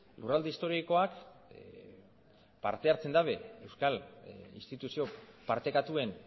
lurralde historikoak parte hartzen dabe euskal instituzio partekatuen